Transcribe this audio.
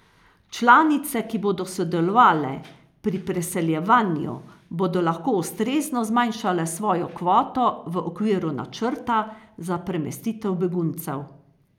Članice, ki bodo sodelovale pri preseljevanju, bodo lahko ustrezno zmanjšale svojo kvoto v okviru načrta za premestitev beguncev.